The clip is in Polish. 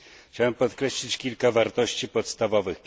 Chciałbym podkreślić kilka wartości podstawowych.